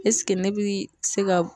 esike ne bi se ga